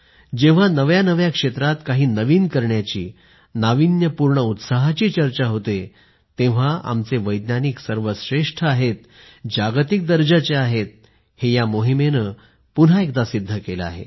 जेव्हा नव्या नव्या क्षेत्रांत काही नवीन करण्याची नाविन्यपूर्ण उत्साहाची चर्चा होते तेव्हा आमचे वैज्ञानिक सर्वश्रेष्ठ आहेत जागतिक दर्जाचे आहेत हे या मोहीमेने पुन्हा एकदा सिद्ध केलं आहे